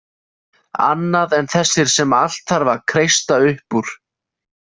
Annað en þessir sem allt þarf að kreista upp úr.